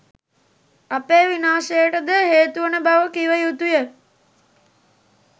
අපේ විනාශයටද හේතුවන බව කිව යුතුය